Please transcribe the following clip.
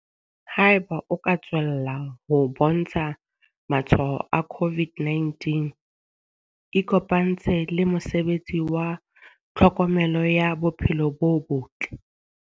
Haeba o ka tswella ho bontsha matshwao a COVID-19 ikopantshe le mosebetsi wa tlhokomelo ya bophelo bo botle.